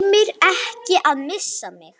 Tímir ekki að missa mig.